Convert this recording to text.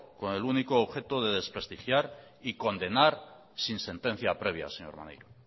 con el único objeto de desprestigiar y condenar sin sentencia previa señor maneiro